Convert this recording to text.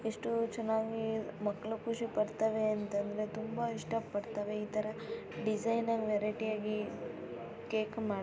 ಎಷ್ಟು ಉಹ್ ಚನ್ನಾಗಿ ಮಕ್ಳು ಖುಷಿ ಪಡ್ತಾವೆತಂದ್ರೆ ತುಂಬಾ ಇಷ್ಟ ಪಡ್ತಾವೆ ಇತರ ಡಿಸೈನೆ ವೆರೈಟಿಆಗಿ ಕೇಕ್ ಮಾ --